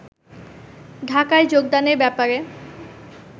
ঢাকায় যোগদানের ব্যাপারে